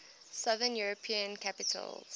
southern european capitals